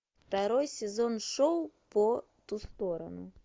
второй сезон шоу по ту сторону